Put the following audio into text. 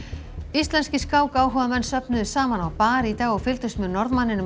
íslenskir skákáhugamenn söfnuðust saman á bar í dag og fylgdust með Norðmanninum